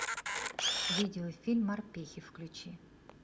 видеофильм морпехи включи